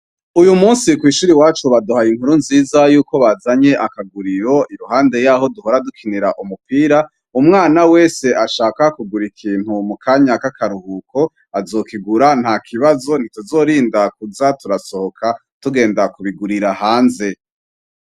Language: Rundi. Uyu musi kw'ishure iwacu baduhaye inkuru nziza yuko bazanye akaguriro iruhande yaho duhora dukinira umupira, umwana wese ashaka kugura ikintu mu kanya k'akaruhuko azokigura nta kibazo ntituzorinda kuza turasohoka tugenda kubigurira hanze.